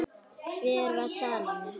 Hver var Salóme?